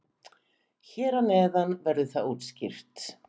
Hér að neðan verður það útskýrt.